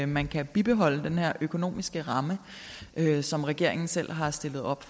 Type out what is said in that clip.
man kan bibeholde den økonomiske ramme som regeringen selv har stillet op